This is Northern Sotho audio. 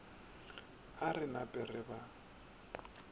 a re nape re ba